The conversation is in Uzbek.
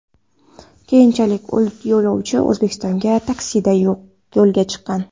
Keyinchalik yo‘lovchi O‘zbekistonga taksida yo‘lga chiqqan .